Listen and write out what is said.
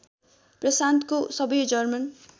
प्रशान्तको सबै जर्मन